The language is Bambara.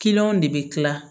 de bɛ kila